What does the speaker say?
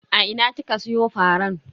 A ina kika siyo faran?